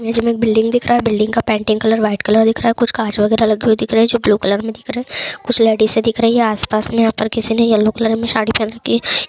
नीचे एक बिल्डिंग दिख रहा हैं बिल्डिंग का पेंटिंग कलर वाइट कलर दिख रहा हैं काँच वगैरा लगे हुई दिख रहा हैं जो ग्रे कलर में दिख रहे हैं कुछ लाईटे से दिख रही है आस पास में यहां पर किसी ने येलो कलर में साड़ी पहन रखी हैं ।